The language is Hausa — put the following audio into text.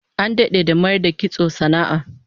An dade da mayar da kitso sana'a